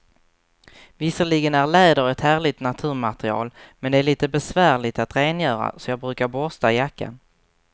Visserligen är läder ett härligt naturmaterial, men det är lite besvärligt att rengöra, så jag brukar borsta jackan.